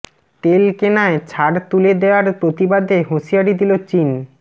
তেল কেনায় ছাড় তুলে দেয়ার প্রতিবাদে হুঁশিয়ারি দিল চীন